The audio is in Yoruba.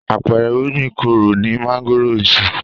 Àpẹẹrẹ irúgbìn kóró ni mángòrò ń ṣe.